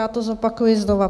Já to zopakuji znova.